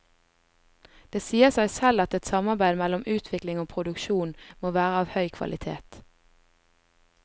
Det sier seg selv at et samarbeid mellom utvikling og produksjon må være av høy kvalitet.